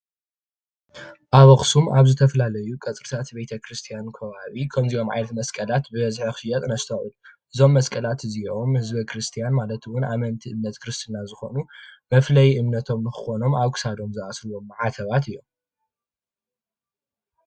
ኣብ ኣክሱም ኣብ ዝተፈላለዩ ቀፅርታት ቤተክርስትያን ከባቢ ከምዚኦም ዓይነታት መስቀል ብበዝሒ ክሽየጥ ነስተውዕል ኢና፡፡ እዞም መስቀላት እዚኦም ንህዝቢ ክርስትያን ማለት እውን ንኣመንቲ ክርስትና ዝኮኑ መፍለይ ክኮኖም ድማ ኣብ ክሳዶም ዝኣስርዎ ማዕተባት እዮም፡